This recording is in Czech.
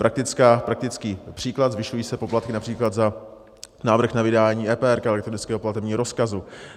Praktický příklad: zvyšují se poplatky například za návrh na vydání EPR, elektronického platebního rozkazu.